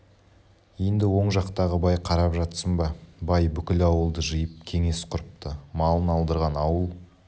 енді оң жақтағы бай қарап жатсын ба бай бүкіл ауылды жиып кеңес құрыпты малын алдырған ауыл